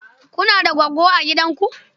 Kuna da goggo a gidanku?